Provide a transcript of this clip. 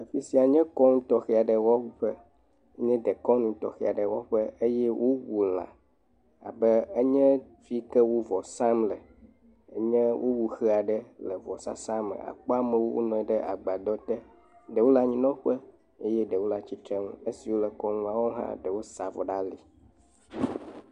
Afi sia nye kɔnu tɔxɛ wɔƒe, nye dekɔnu tɔxɛ aɖe wɔƒe, eye wowu lã labe enye fi yi ke wo vɔ sam le, enye wowu xe aɖe le vɔsasa me, akpɔ amewo wonɔ anyi ɖe agbadɔ te, ɖewo le anyinɔƒe, ɖewo le atsitre nu eyiwo le kɔnua wɔm hã, wosa avɔ ɖe ali.